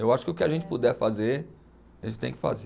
Eu acho que o que a gente puder fazer, a gente tem que fazer.